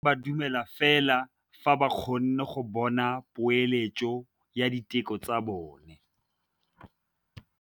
Borra saense ba dumela fela fa ba kgonne go bona poeletsô ya diteko tsa bone.